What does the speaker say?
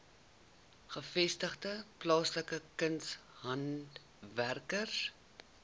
gevestigde plaaslike kunshandwerkers